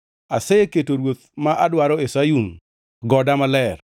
“Aseketo Ruoth ma adwaro e Sayun, goda maler.”